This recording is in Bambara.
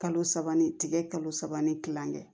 Kalo saba ni tigɛ kalo saba ni kilankɛ